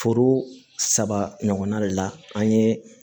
Foro saba ɲɔgɔnna de la an ye